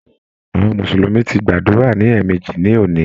Àwọn mùsùlùmí ti gbàdúrà ní èèmejì ní òní.